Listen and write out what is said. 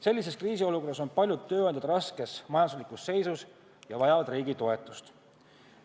Sellises kriisiolukorras on aga paljud tööandjad raskes majanduslikus seisus ja vajavad riigi toetust.